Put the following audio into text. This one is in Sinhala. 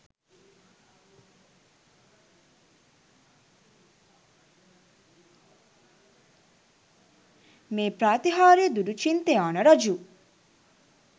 මේ ප්‍රාතිහාර්ය දුටු චින්තයාන රජු